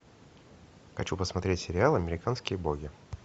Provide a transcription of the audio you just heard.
хочу посмотреть сериал американские боги